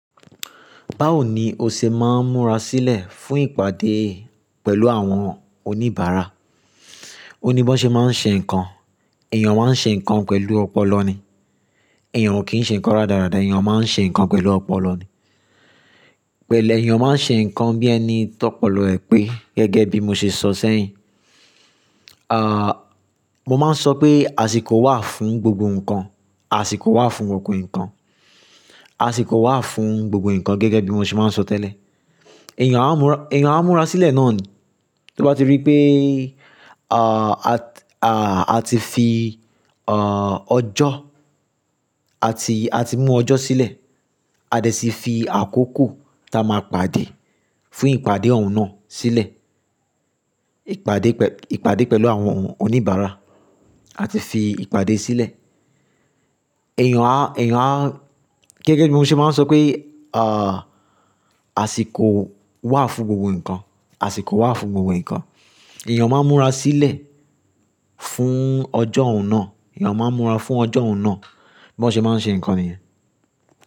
Báwo ni o ṣe máa ń múra sílẹ̀ fún ìpàdé pẹ̀lú àwọn oníbàárà? Ó ní bó ṣe máa ń ṣe nǹkan, èèyàn máa ń ṣe nǹkan pẹ̀lú ọpọlọ ni, èèyàn ò kí ń ṣe nǹkan rádaràda, èèyàn máa ń ṣe nǹkan pẹ̀lú ọpọlọ ni. Pẹ̀le èèyàn máa ń ṣe nǹkan bí ẹni tó pọlọ ẹ̀ pé gẹ́gẹ́ bí mo ṣe sọ sẹ́yìn. À, mo máa ń sọ pé àsìkò wà fún gbogbo nǹkan, àsìkò wà fún gbogbo nǹkan, àsìkò wà fún gbogbo nǹkan gẹ́gẹ́ bí mo ṣe máa ń sọ tẹ́lẹ̀. Ẹ̀yàn á múra, ẹ̀yàn á múra sílẹ̀ náà ni. Tí o bá ti rí pé, à, a ti fi, à, ọjọ́, a ti, a ti mú ọjọ́ sílẹ̀, a dẹ̀ si fi àkókò tí a máa pàdé fún ìpàdé òun náà sílẹ̀. Ìpàdé pẹ̀- ìpàdé pẹ̀lú àwọn oníbàárà, a ti fi ìpàdé sílẹ̀. Ẹ̀yàn á, ẹ̀yàn á, gẹ́gẹ́ bí mo ṣe máa ń sọ pé, à, àsìkò wà fún gbogbo nǹkan, àsìkò wà fún gbogbo nǹkan. Ẹ̀yàn máa ń múra sílẹ̀ fún ọjọ́ òun náà, ẹ̀yàn máa ń múra fún ọjọ́ òun náà bó ṣe máa ń ṣe nǹkan nìyẹn.